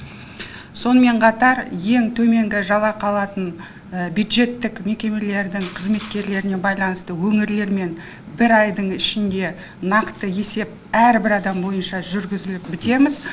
сонымен қатар ең төменгі жалақы алатын бюджеттік мекемелердің қызметкерлеріне байланысты өңірлермен бір айдың ішінде нақты есеп әрбір адам бойынша жүргізіліп бітеміз